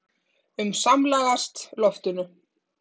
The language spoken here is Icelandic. um samlagast loftinu.